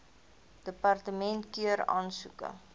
departement keur aansoeke